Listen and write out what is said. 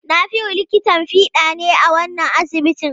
Nafiu likitan fiɗa ne a wannan asibitin.